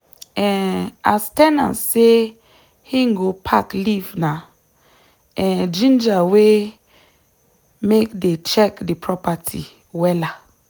um as ten ant say him go pack leave na um ginger wey make dey check the property wella.